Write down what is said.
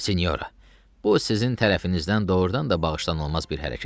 Sinyora, bu sizin tərəfinizdən doğurdan da bağışlanılmaz bir hərəkətdir.